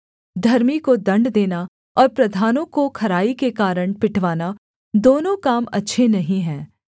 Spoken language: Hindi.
धर्मी को दण्ड देना और प्रधानों को खराई के कारण पिटवाना दोनों काम अच्छे नहीं हैं